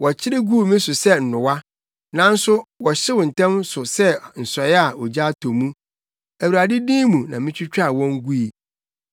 Wɔkyere guu me so sɛ nnowa, nanso wɔhyew ntɛm so sɛ nsɔe a ogya atɔ mu; Awurade din mu mitwitwaa wɔn gui.